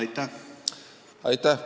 Aitäh!